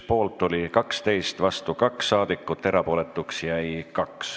Poolt oli 12, vastu 2 saadikut, erapooletuks jäi 2.